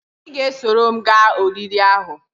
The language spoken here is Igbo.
I ga-esoro m gaa oriri ahu?